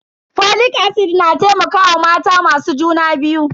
Folic acid na taimakawa mata masu juna biyu.